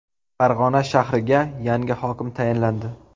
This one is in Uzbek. Farg‘ona shahriga yangi hokim tayinlandi.